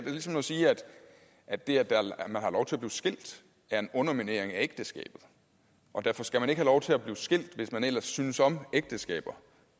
er ligesom at sige at det at man har lov til at blive skilt er en underminering af ægteskabet og derfor skal man ikke have lov til at blive skilt hvis man ellers synes om ægteskaber